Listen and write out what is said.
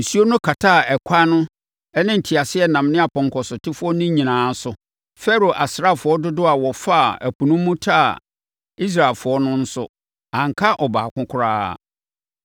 Nsuo no kataa ɛkwan no ne nteaseɛnam ne apɔnkɔsotefoɔ no nyinaa so. Farao asraafoɔ dodoɔ a wɔfaa ɛpo no mu taa Israelfoɔ no nso, anka ɔbaako koraa.